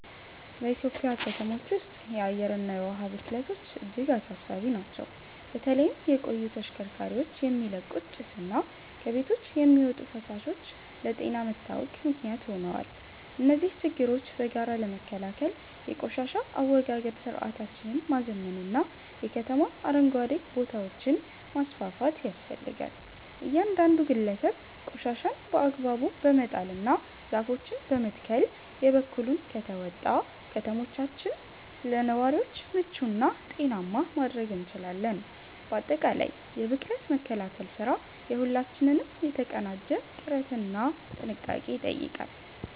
በኢትዮጵያ ከተሞች ውስጥ የአየርና የውሃ ብክለቶች እጅግ አሳሳቢ ናቸው። በተለይም የቆዩ ተሽከርካሪዎች የሚለቁት ጭስና ከቤቶች የሚወጡ ፍሳሾች ለጤና መታወክ ምክንያት ሆነዋል። እነዚህን ችግሮች በጋራ ለመከላከል የቆሻሻ አወጋገድ ስርዓታችንን ማዘመንና የከተማ አረንጓዴ ቦታዎችን ማስፋፋት ያስፈልጋል። እያንዳንዱ ግለሰብ ቆሻሻን በአግባቡ በመጣልና ዛፎችን በመትከል የበኩሉን ከተወጣ፣ ከተሞቻችንን ለነዋሪዎች ምቹና ጤናማ ማድረግ እንችላለን። ባጠቃላይ የብክለት መከላከል ስራ የሁላችንንም የተቀናጀ ጥረትና ጥንቃቄ ይጠይቃል።